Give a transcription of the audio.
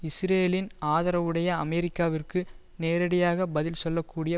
இஸ்ரேலின் ஆதரவுடைய அமெரிக்காவிற்கு நேரடியாக பதில் சொல்லக்கூடிய